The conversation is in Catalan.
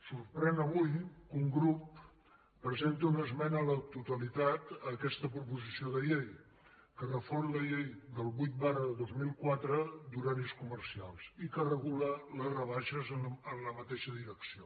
sorprèn avui que un grup presenti una esmena a la totalitat a aquesta proposició de llei que refon la llei vuit dos mil quatre d’horaris comercials i que regula les rebaixes en la mateixa direcció